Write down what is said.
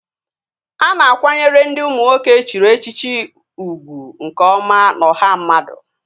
A na-akwanyere ndị ụmụ nwoke e chiri echichi ugwu nke ọma n'ọha mmadụ